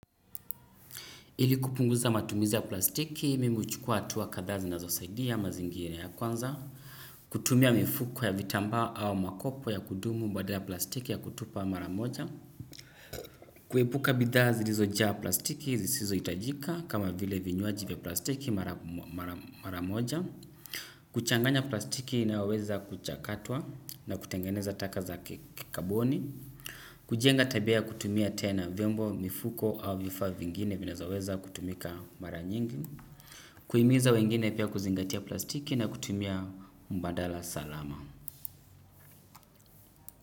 Ili kupunguza matumizi ya plastiki, mimi huchukua hatua kadhaa zinazosaidia mazingira ya kwanza, kutumia mifuko ya vitambaa au makopo ya kudumu badala ya plastiki ya kutupa mara moja, kuepuka bidhaa zilizojaa plastiki zisizo hitajika kama vile vinywaji vya plastiki mara moja, kuchanganya plastiki inayoweza kuchakatwa na kutengeneza taka za kikaboni, kujenga tabia ya kutumia tena vyombo mifuko au vifaa vingine vinavyoweza kutumika mara nyingi kuimiza wengine pia kuzingatia plastiki na kutumia mbadala salama.